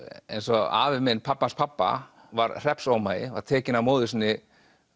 eins og afi minn pabbi hans pabba var hreppsómagi var tekinn af móður sinni